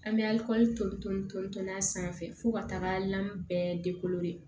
An bɛ tonton ton ton n'a sanfɛ fo ka taga lan bɛɛ